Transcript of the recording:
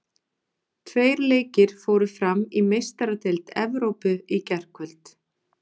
Tveir leikir fóru fram í Meistaradeild Evrópu í gærkvöld.